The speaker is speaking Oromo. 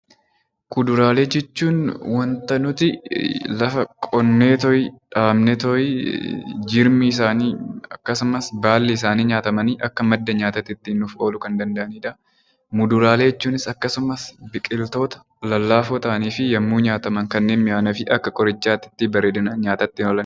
Kuduraalee jechuun wanta nuti lafa qonneetooyi, dhaabneetooyi jirmi isaanii akkasumas baalli isaanii nyaatamanii akka madda nyaataa tti nuuf ooluu kan danda'ani dha. Muduraalee jechuunis akkasumas biqiltoota lallaafoo ta'anii fi yemmuu nyaataman kanneen mi'aawanii fi akka qorichaa tti bareedinaan nyaatatti oolan.